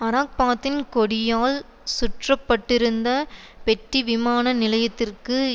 அரபாத்தின் கொடியால் சுற்றப்பட்டிருந்த பெட்டி விமான நிலையத்திற்கு